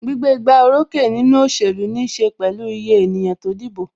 Gbígbé igbá orókè nínú òṣèlú níse pẹ̀lú iye ènìyàn tó dìbò.